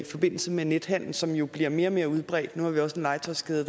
forbindelse med nethandel som jo bliver mere og mere udbredt nu har vi også en legetøjskæde